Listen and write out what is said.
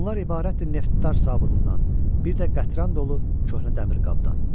Bunlar ibarətdir neftdar sabunundan, bir də qətran dolu köhnə dəmir qabdan.